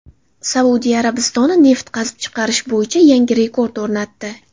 Saudiya Arabistoni neft qazib chiqarish bo‘yicha yangi rekord o‘rnatdi .